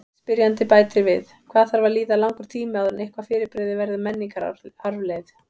Spyrjandi bætir við: Hvað þarf að líða langur tími áður en eitthvað fyrirbrigði verður menningararfleifð?